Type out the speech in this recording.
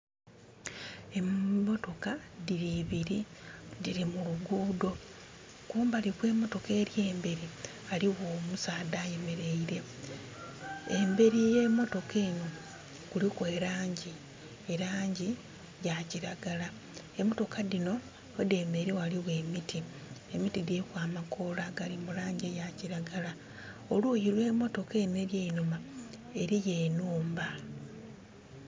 Emotoka diri ibiri, diri mu lugudho. Kumbali kwe motoka eri emberi waliwo omusaadha ayemeleire. Emberi ye motoka eno kuliku e langi. E langi ya kiragala. Emotoka dino we demeleire waliwo emiti. Emiti diriku amakoola gali mu langi eya kiragala. Oluyi olwe motoka eno eri einhuma eliyo enhumba